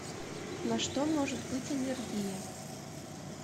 на что может быть аллергия